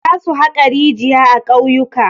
Zasu haƙa rijiya a ƙauyuka.